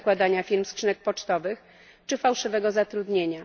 zakładania firm skrzynek pocztowych czy fałszywego zatrudnienia.